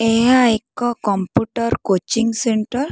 ଏହା ଏକ computer coaching centre.